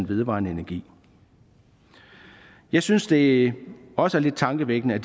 vedvarende energi jeg synes det også er lidt tankevækkende at